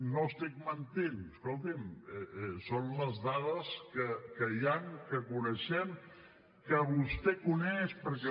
no estic mentint escolti’m són les dades que hi han que coneixem que vostè coneix perquè